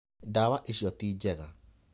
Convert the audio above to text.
Ndawa icio ti njega.